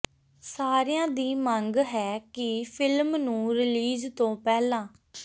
ਸਾਰਿਆਂ ਦੀ ਮੰਗ ਹੈ ਕਿ ਫਿਲਮ ਨੂੰ ਰਿਲੀਜ਼ ਤੋਂ ਪਹਿਲਾਂ